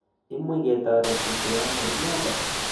Imuch ke toretite ano inendet?